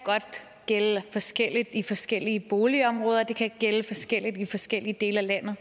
gælde forskelligt i forskellige boligområder og at det kan gælde forskelligt i forskellige dele af landet